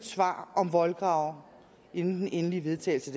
svar om voldgrave inden den endelige vedtagelse